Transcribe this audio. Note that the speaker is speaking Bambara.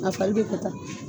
A fali be pata.